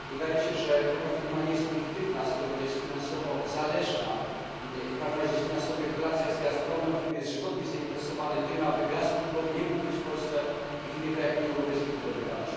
Wydaje się, że taka firma nie jest obiektywna, skoro jest finansowo zależna i jest w finansowych relacjach z Gazpromem, który jest żywotnie zainteresowany tym, aby gaz łupkowy nie mógł być w Polsce i w innych krajach Unii Europejskiej wydobywany.